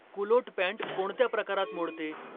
culotte pant कोणत्या प्रकारात मोडते